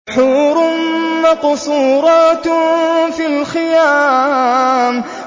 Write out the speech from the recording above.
حُورٌ مَّقْصُورَاتٌ فِي الْخِيَامِ